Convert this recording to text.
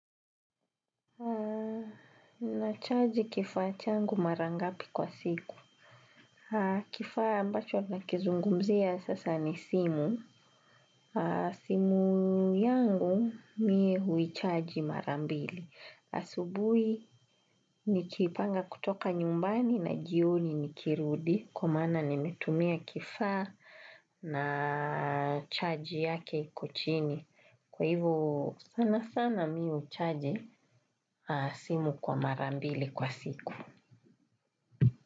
Na charge kifaachangu marangapi kwa siku. Kifa ambacho na kizungumzia sasa ni simu. Simu yangu mie hui charge marambili. Asubui nikipanga kutoka nyumbani na jioni nikirudi. Kwa mana nimetumia kifa na charge yake iko chini. Kwa hivo sana sana mi ucharge simu kwa marambili kwa siku.